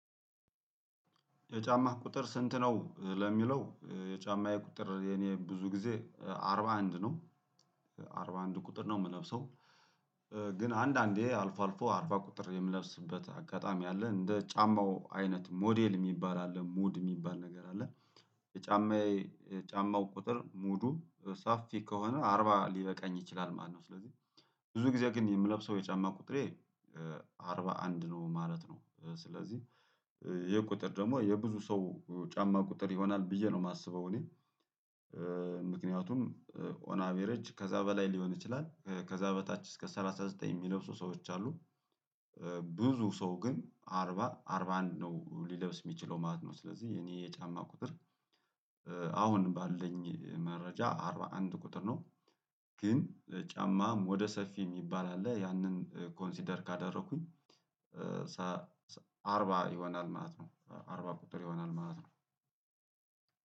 የጫማህ ቁጥር ስንት ነው? ለሚለው የጫማየ ቁጥር የኔ ብዙ ጊዜ አርባ አንድ ነው አርባ አንድ ቁጥር ነው የምለብሰው። ግን አንዳንዴ አልፎ አልፎ አርባ ቁጥር የምለብስበት አጋጣሚ አለ እንደ ጫማው አይነት ሞዴል የሚባል አለ ሙድ የሚባል ነገር አለ። የጫማዬ ጫማው ቁጥር ሙዱ ሰፊ ከሆነ አርባ ሊበቃኝ ይችላል ማለት ነው። ስለዚህ ብዙ ጊዜ ግን የምለብሰው የጫማ ቁጥሬ አርባ አንድ ነው ማለት ነው። ስለዚህ ይኸቁጥር ደግሞ የብዙ ሰው ጫማ ቁጥር ይሆናል ብዬ ነው የማስበው እኔ። ምክንያቱም ኦን አቬረጅ ከዛ በላይ ሊሆን ይችላል ከዛ በታች እስከ ሰላሳ ዘጠኝ የሚለብሱ ሰዎች አሉ። ብዙ ሰው ግን አርባ አርባ አንድ ነው ሊለብስ የሚችለው ማለት ነው ስለዚህ እኔ የጫማ ቁጥር። አሁን ባለኝ መረጃ አግ አንድ ቁጥር ነው። ግን ጫማም ሞደ ሰፊ የሚባል አለ ያንን ኮንሲደር ካደረኩኝ። ሰሰ አርባ ይሆናል ማለት ነው አርባ ቁጥር ይሆናል ማለት ነው።